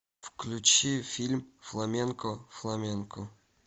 включи фильм фламенко фламенко